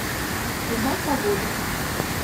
узнать погоду